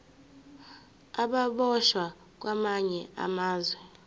ababoshwe kwamanye amazwe